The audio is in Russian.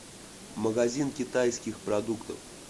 магазин китайских продуктов